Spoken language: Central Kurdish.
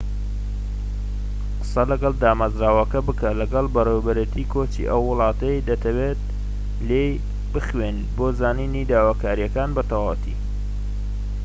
قسە لەگەڵ دامەزراوەکە بکە لەگەڵ بەڕێوەبەرێتی کۆچی ئەو وڵاتەی دەتەوێت لێی بخوێنیت بۆ زانینی داواکاریەکان بە تەواوی